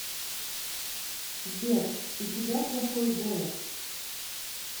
сбер у тебя плохой голос